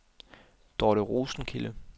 Dorte Rosenkilde